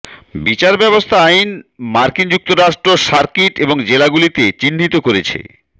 বিচার ব্যবস্থা আইন মার্কিন যুক্তরাষ্ট্র সার্কিট এবং জেলাগুলিতে চিহ্নিত করেছে